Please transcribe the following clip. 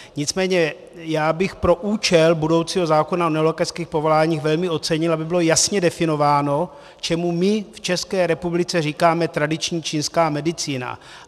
Nicméně já bych pro účel budoucího zákona o nelékařských povoláních velmi ocenil, aby bylo jasně definováno, čemu my v České republice říkáme tradiční čínská medicína.